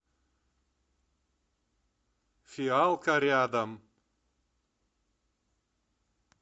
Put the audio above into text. фиалка рядом